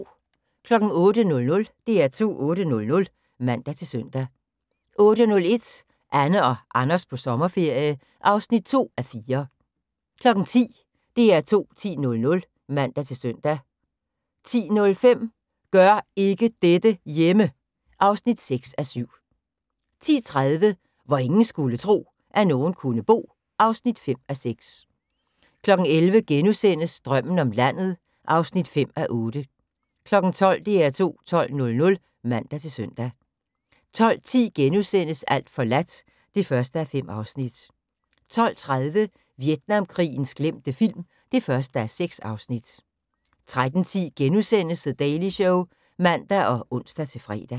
08:00: DR2 8:00 (man-søn) 08:01: Anne og Anders på sommerferie (2:4) 10:00: DR2 10.00 (man-søn) 10:05: Gør ikke dette hjemme! (6:7) 10:30: Hvor ingen skulle tro, at nogen kunne bo (5:6) 11:00: Drømmen om landet (5:8)* 12:00: DR2 12.00 (man-søn) 12:10: Alt forladt (1:5)* 12:30: Vietnamkrigens glemte film (1:6) 13:10: The Daily Show *(man og ons-fre)